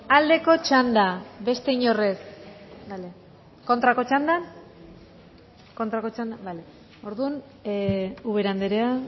aldeko txandan beste inork ez kontrako txanda bale orduan ubera andrea